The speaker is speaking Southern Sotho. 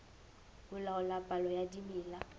ho laola palo ya dimela